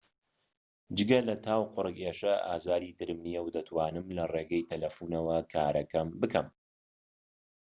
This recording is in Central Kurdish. جگە لە تا و قورگ ئێشە ئازاری ترم نیە و دەتونم لەڕێی تەلەفونەوە کارەکەم بکەم